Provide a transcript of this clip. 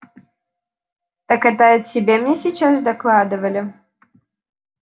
так это о тебе мне сейчас докладывали